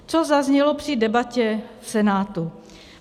Co zaznělo při debatě v Senátu?